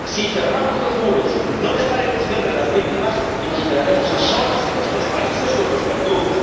Si cerramos los muros, no dejaremos que entren las víctimas y nos quedaremos a solas en nuestros países con los verdugos.